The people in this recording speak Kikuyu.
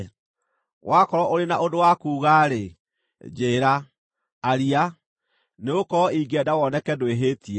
Wakorwo ũrĩ na ũndũ wa kuuga-rĩ, njĩĩra; aria, nĩgũkorwo ingĩenda woneke ndwĩhĩtie.